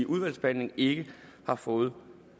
udvalgsbehandlingen ikke har fået